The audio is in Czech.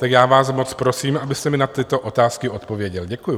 Tak já vám moc prosím, abyste mi na tyto otázky odpověděl. Děkuju.